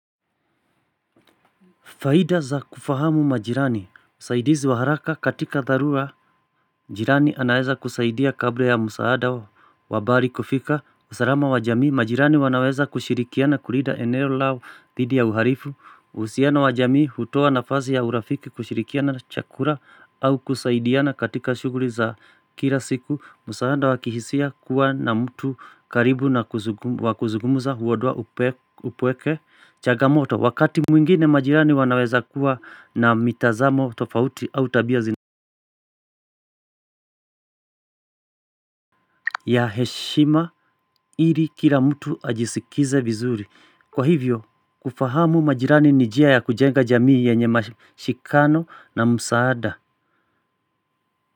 Faida za kufahamu majirani, msaidizi wa haraka katika dharura majirani wanaweza kusaidia kabla ya msaada wa bari kufika. Usarama wa jamii, majirani wanaweza kushirikiana kulida eneo lao dhidi ya uharifu. Uhusiano wa jamii hutowa nafasi ya urafiki kushirikiana chakura au kusaidiana katika shughuri za kila siku. Msaada wa kihisia kuwa na mtu karibu na wa kuzugumuza huodoa upweke chagamoto. Wakati mwingine majirani wanaweza kuwa na mitazamo tofauti au tabia zina ya heshima ili kila mtu ajisikize vizuri kwa hivyo kufahamu majirani ni jia ya kujenga jamii yenye mashikano na msaada.